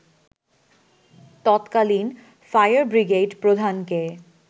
তৎকালীন fire brigade প্রধানকে